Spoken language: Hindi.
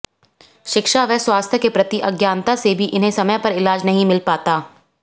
शिक्षा व स्वास्थ्य के प्रति अज्ञानता से भी इन्हें समय पर इलाज नहीं मिल पाता